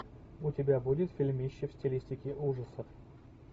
у тебя будет фильмище в стилистике ужасов